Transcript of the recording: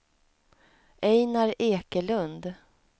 Einar Ekelund